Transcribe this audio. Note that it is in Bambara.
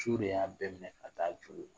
Su de y'a bɛɛ minɛ ka taa